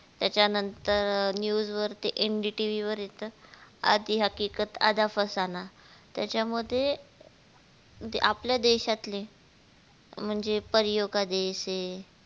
त्याचा नंतर news वर ते NDTV वर येत आधी हकीकत आधा फसाना त्याचा मध्ये आपल्या देशातले म्हणजे परियो का देश ह